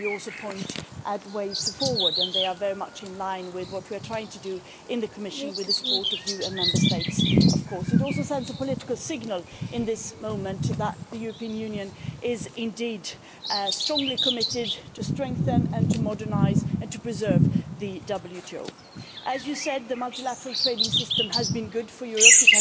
You also point at ways forward and they are very much in line with what we are trying to do in the Commission with support from you and Member States. It also sends a political signal in this moment that the European Union is strongly committed to strengthening and to modernising and to preserving the WTO. As you said, the multilateral trading system has been good for Europe.